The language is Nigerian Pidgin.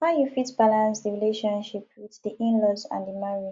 how you fit balance di relationship with di inlaws and di marriage